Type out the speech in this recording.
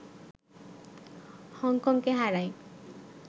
হংকংকে হারায়